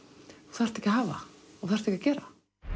þú þarft ekki að hafa og þarft ekki að gera